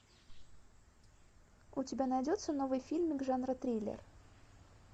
у тебя найдется новый фильмик жанра триллер